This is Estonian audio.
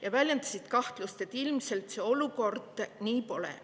Nad väljendasid kahtlust, et ilmselt see olukord nii pole.